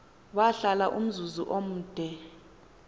wahlala umzuzu omde